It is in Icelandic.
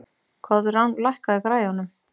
Koðrán, lækkaðu í græjunum.